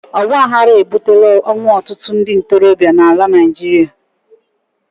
ọgbaghara ebutela ọnwụ ọtụtụ ndị ntorobịa na Naịjirịa